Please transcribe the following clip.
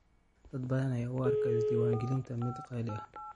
Dad badan ayaa u arka isdiiwaangelinta mid qaali ah.